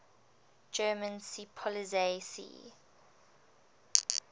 german seepolizei sea